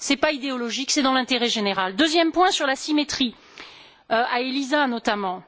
Ce n'est pas idéologique, c'est dans l'intérêt général. Deuxième point, sur la symétrie, à Elisa notamment.